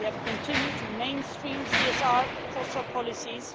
We have continued to mainstream CSR across our policies.